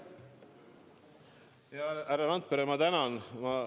Hea härra Randpere, ma tänan!